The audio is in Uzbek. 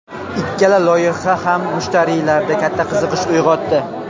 Ikkala loyiha ham mushtariylarda katta qiziqish uyg‘otdi.